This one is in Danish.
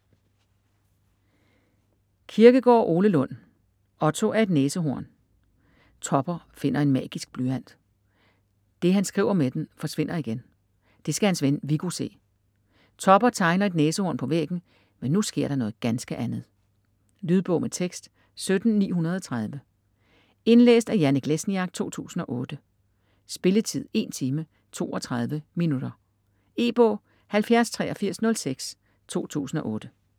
Kirkegaard, Ole Lund: Otto er et næsehorn Topper finder en magisk blyant. Det han skriver med den, forsvinder igen. Det skal hans ven Viggo se. Topper tegner et næsehorn på væggen, men nu sker der noget ganske andet!. Lydbog med tekst 17930 Indlæst af Janek Lesniak, 2008. Spilletid: 1 time, 32 minutter. E-bog 708306 2008.